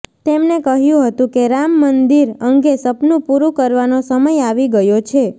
તેમને કહ્યું હતું કે રામ મંદિર અંગે સપનું પૂરું કરવાનો સમય આવી ગયો છે